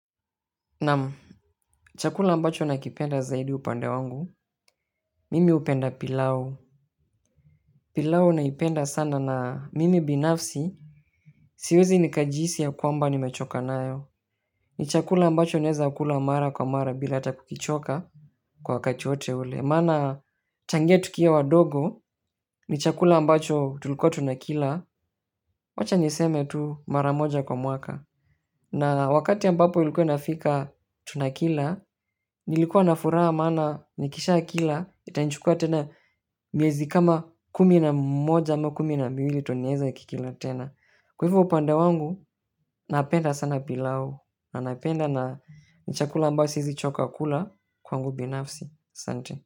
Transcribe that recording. Naam, chakula ambacho nakipenda zaidi upande wangu, mimi upenda pilau. Pilau naipenda sana na mimi binafsi, siwezi nikajihisi ya kwamba nimechoka nayo. Ni chakula ambacho naeza kula mara kwa mara bila hata kukichoka, kwa wakati wote ule, maana tangia tukiwa wadogo, ni chakula ambacho tulikuwa tunakila, wacha niseme tu maramoja kwa mwaka. Na wakati ambapo ilikuwa inafika tunakila, nilikuwa na furaha maana nikisha kila itanichukua tena miezi kama kumi na moja, ama kumi na miwili ndo nieze kikila tena. Kwa hivyo upande wangu, napenda sana pilau, na napenda na ni chakula ambayo siezi choka kula, kwangu binafsi. Asante.